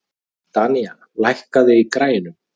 Danía, lækkaðu í græjunum.